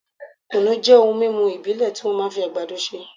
kùnú jẹ́ ohun mímú ìbílẹ̀ tí wọ́n máa ń fi àgbàdo ṣe